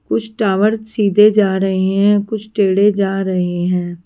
कुछ टावर सीधे जा रहे हैं कुछ टेढ़े जा रहे हैं।